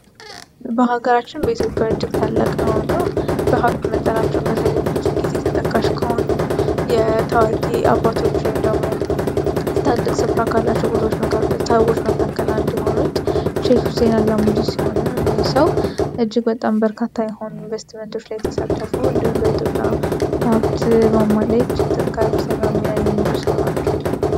በሀገራችን በኢትዮፒያ እጅግት አላቅ የሆኑ በሀብት መጠናቸውን በተለም ብዙ ጊዜ የተጠቃሽ ከሆኑ የታዋቂ አባቶች የም ደግሞ ስታልቅ ስፍራ አካላቸው ቦቶዎታውጎች መካከል እንዲሆኑት ሼሽ ሁሴናላ ሙጂ ሲሆኑ እዲሰው እጅግ በጣም በርካታ የሆኑ ኢንቨስቲመንቶች ላይየተሳተፉ እንዲውም በኢትዮጵያ ሀብት ማማ ላይ ጅግ ከፍሰኛው የሚና የሚዙ ሰው ናቸው።